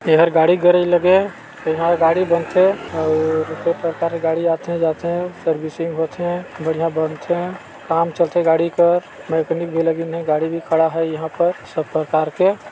एहर गाड़ी गैरेज लगे इहा गाड़ी बनथे अउ कई प्रकार के गाड़ी आथे जाथे सर्विसिंग होथे बढ़िया बनथे काम चलथे गाड़ी क मकैनिक भी लगिन हे गाड़ी भी खड़ा है यहाँ पर सब प्रकार के--